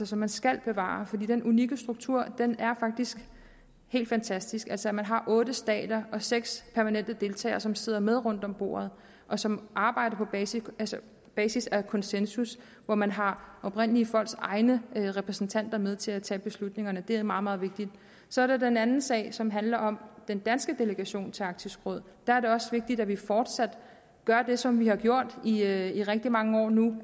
som man skal bevare for den unikke struktur er faktisk helt fantastisk altså at man har otte stater og seks permanente deltagere som sidder med rundt om bordet og som arbejder på basis af basis af konsensus hvor man har oprindelige folks egne repræsentanter med til at tage beslutningerne det er meget meget vigtigt så er der den anden sag som handler om den danske delegation til arktisk råd der er det også vigtigt at vi fortsat gør det som vi har gjort i rigtig mange år nu